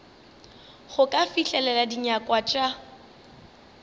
go ka fihlelela dinyakwa tša